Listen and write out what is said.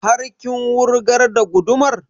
Har kin wurgar da gudumar?